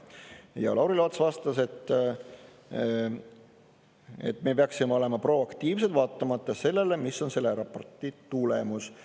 Ja Lauri Laats vastas, et me peaksime olema proaktiivsed, olenemata sellest, mis on selle raporti tulemus.